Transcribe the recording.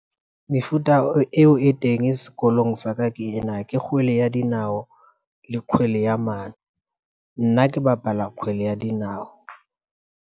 Mefuta eo e teng sekolong sa ka ke ena ke kgwele ya dinao le kgwele ya mane, nna ke bapala kgwele ya dinao.